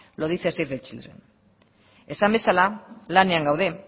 lo dice save the children esan bezala lanean gaude